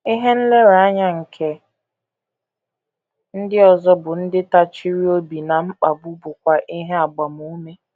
Ihe nlereanya nke ndị ọzọ bụ́ ndị tachiri obi ná mkpagbu bụkwa ihe agbamume.